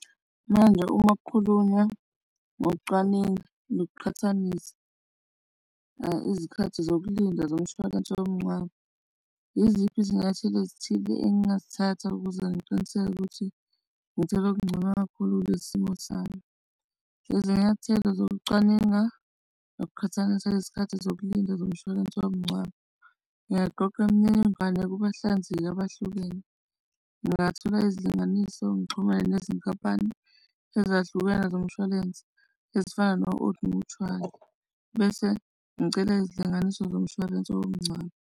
Manje, uma kukhulunywa ngokucwaninga nokuqhathanisa izikhathi zokulinda zomshwalense womngcwabo. Yiziphi izinyathelo ezithile engingazithatha ukuze ngiqiniseke ukuthi ngithenge okungcono kakhulu kulesi simo sami. Izinyathelo zokucwaninga ukuqhathanisa izikhathi zokulinda zomshwalense womngcwabo. Ngingaqoqa imininingwane kubahlanzekile abahlukene. Ngingathola izilinganiso ngixhumane nezinkampani ezahlukene zomshwalense, ezifana no-Old Mutual, bese ngicela izilinganiso zomshwalense womngcwabo.